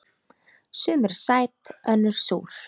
Sum eru sæt önnur súr.